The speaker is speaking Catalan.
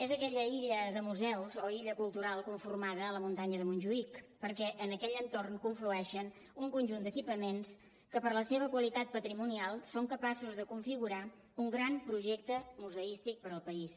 és aquella illa de museus o illa cultural con formada a la muntanya de montjuïc perquè en aquell entorn conflueixen un conjunt d’equipaments que per la seva qualitat patrimonial són capaços de configurar un gran projecte museístic per al país